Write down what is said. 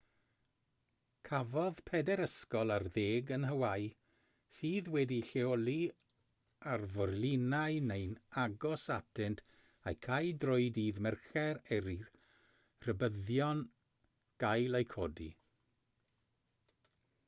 cafodd pedair ysgol ar ddeg yn hawäi sydd wedi'u lleoli ar forlinau neu'n agos atynt eu cau drwy ddydd mercher er i'r rhybuddion gael eu codi